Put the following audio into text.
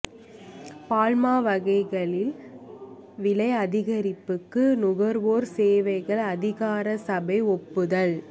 பால்மா வகைகளின் விலை அதிகரிப்புக்கு நுகர்வோர் சேவைகள் அதிகார சபை ஒப்புதல்